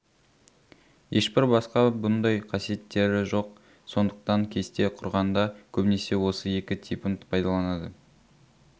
ешбір басқа бұндай қасиеттері жоқ сондықтан кесте құрғанда көбінесе осы екі типін пайдаланады